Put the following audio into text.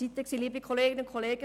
Das waren noch andere Zeiten;